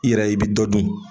I yɛrɛ i bi dɔ dun.